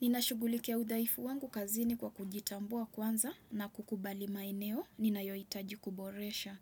Ninashughulikia udhaifu wangu kazini kwa kujitambua kwanza na kukubali maeneo ninayohitaji kuboresha.